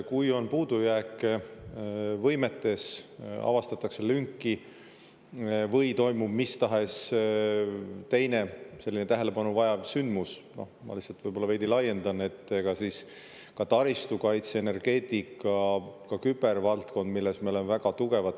Kui on puudujääke võimetes, avastatakse lünki või toimub mis tahes teine tähelepanu vajav sündmus, ma lihtsalt võib-olla veidi laiendan, ka taristu kaitse, energeetika, kübervaldkond, milles me oleme väga tugevad.